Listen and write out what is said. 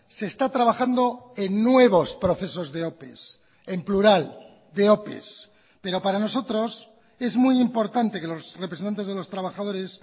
se está trabajando en nuevos procesos de ope en plural de ope pero para nosotros es muy importante que los representantes de los trabajadores